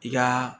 I ka